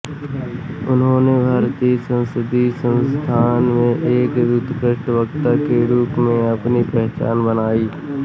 उन्होने भारतीय संसदीय संस्थान में एक उत्कृष्ट वक्ता के रूप में अपनी पहचान बनाई